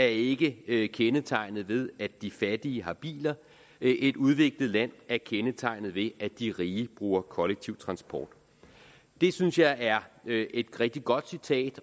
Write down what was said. ikke er kendetegnet ved at de fattige har biler et udviklet land er kendetegnet ved at de rige bruger kollektiv transport det synes jeg er et rigtig godt citat